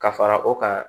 Ka fara o kan